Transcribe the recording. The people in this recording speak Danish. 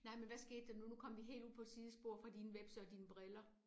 Nej men hvad skete der nu nu kom vi helt ud på et sidespor fra dine hvepse og dine briller